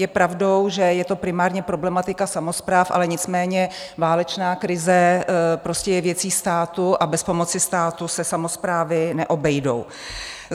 Je pravdou, že je to primárně problematika samospráv, ale nicméně válečná krize prostě je věcí státu a bez pomoci státu se samosprávy neobejdou.